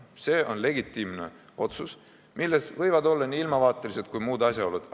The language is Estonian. See on legitiimne otsus, mille langetamisel võivad kaasa rääkida nii ilmavaatelised kui muud asjaolud.